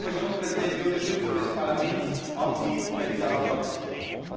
Herr Kommissionspräsident, die Unterstützung des Parlaments ist Ihnen bei dieser Aufgabe sicher!